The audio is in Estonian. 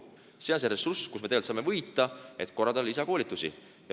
Seal on see ressurss, mille me tegelikult saame võita, et korraldada lisakoolitusi.